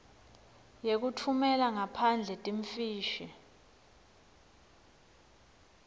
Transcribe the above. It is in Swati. yekutfumela ngaphandle timfishi